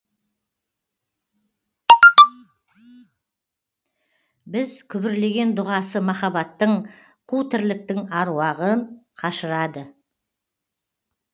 біз күбірлеген дұғасы махаббаттың қу тірліктің аруағын қашырады